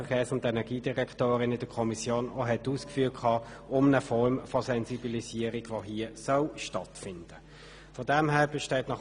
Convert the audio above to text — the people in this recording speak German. Vielmehr soll hier eine Form von Sensibilisierung stattfinden, wie Regierungsrätin Egger in der Kommission ausgeführt hat.